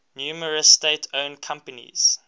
numerous state owned companies